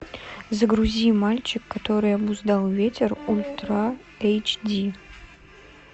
загрузи мальчик который обуздал ветер ультра эйч ди